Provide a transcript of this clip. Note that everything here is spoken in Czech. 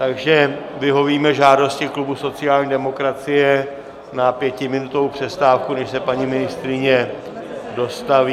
Takže vyhovíme žádosti klubu sociální demokracie na pětiminutovou přestávku, než se paní ministryně dostaví.